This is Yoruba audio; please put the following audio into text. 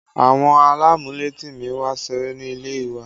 Àwọn alamuleti mi wá ṣeré ní ilé wa